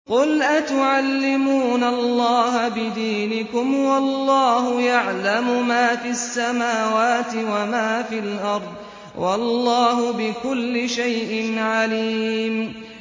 قُلْ أَتُعَلِّمُونَ اللَّهَ بِدِينِكُمْ وَاللَّهُ يَعْلَمُ مَا فِي السَّمَاوَاتِ وَمَا فِي الْأَرْضِ ۚ وَاللَّهُ بِكُلِّ شَيْءٍ عَلِيمٌ